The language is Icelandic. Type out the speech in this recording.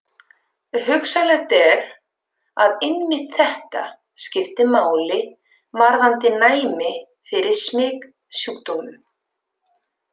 Hugsanlegt er, að einmitt þetta skipti máli varðandi næmi fyrir smitsjúkdómum.